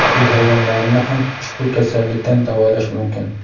uy hayvonlarini ham ushbu kasallikdan davolash mumkin.